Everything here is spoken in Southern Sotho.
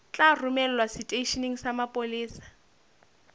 tla romelwa seteisheneng sa mapolesa